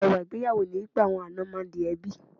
Ẹwà ìgbéyàwó ni wípé àwọn àna máa ń di ẹbí.